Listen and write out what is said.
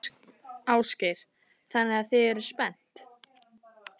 Ásgeir: Þannig að þið eruð spennt?